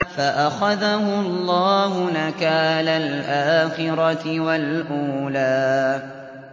فَأَخَذَهُ اللَّهُ نَكَالَ الْآخِرَةِ وَالْأُولَىٰ